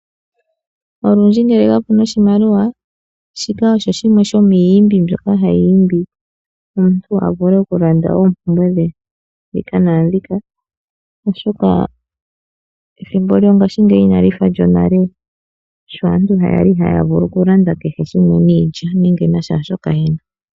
Olundji ngele kapuna oshimaliwa , shika osho shimwe shomiiyimbi mbyoka hayi imbi omuntu avule okulanda oompumbwe dhe dhika naandhiyaka oshoka ethimbo lyongaashingeyi inali fa lyonale, sho aantu okulanda kehe shimwe niilya nenge nashashoka yena.